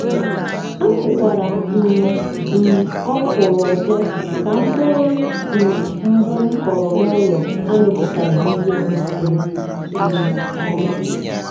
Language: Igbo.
akụkwara um m ọkwụrụ ọzọ ka mkpụrụ um mbụ m kọrọ n'ụlọ amịpụtaghi nke um ọma.